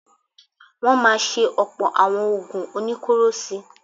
Wọ́n máa ṣe ọ̀pọ̀ àwọn oògùn oníkóró sí i.